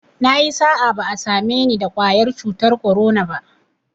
Nayi sa'a, ba'a same ni da ƙwayar cutar korona ba